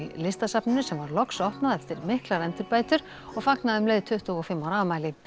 Listasafninu sem var loks opnað eftir miklar endurbætur og fagnaði um leið tuttugu og fimm ára afmæli